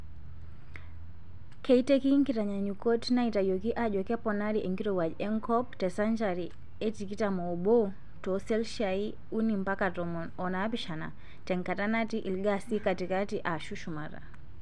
Keiteki nkitanyaanyukot naitayioki ajo keponari enkirowauj enkop tesenchari e tikitam oobo tooselshia uni mpaka tomon onaapishana tenkata natii ilgaasi katitkati aashu shumata.